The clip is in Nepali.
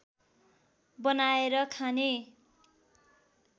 बनाएर खाने